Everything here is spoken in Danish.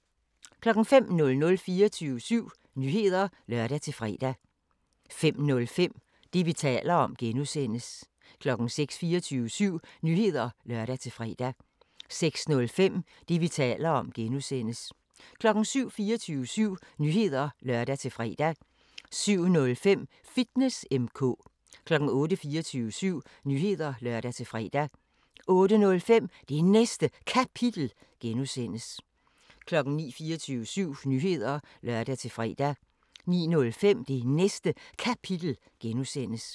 05:00: 24syv Nyheder (lør-fre) 05:05: Det, vi taler om (G) 06:00: 24syv Nyheder (lør-fre) 06:05: Det, vi taler om (G) 07:00: 24syv Nyheder (lør-fre) 07:05: Fitness M/K 08:00: 24syv Nyheder (lør-fre) 08:05: Det Næste Kapitel (G) 09:00: 24syv Nyheder (lør-fre) 09:05: Det Næste Kapitel (G)